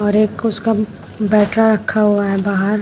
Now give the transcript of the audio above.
और एक उसका बैटरा रखा हुआ है बाहर।